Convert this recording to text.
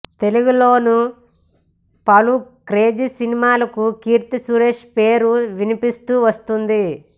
తెలుగులోనూ పలు క్రేజీ సినిమాలకు కీర్తి సురేష్ పేరు వినిపిస్తూ వస్తోంది